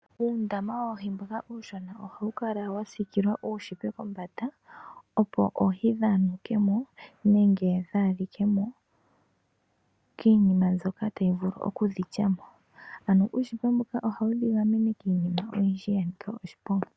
Uundama woohi mboka uushona ohawu kala wasiikilwa uushipa kombanda opo oohi dhaanuke mo nenge dhaalike mo kiinima mbyoka tayi vulu okudhi lya mo. Ano uushipa mboka ohawu dhigamene kiinima oyindji yanika oshiponga.